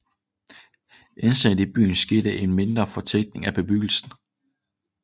Internt i byen skete en mindre fortætning af bebyggelsen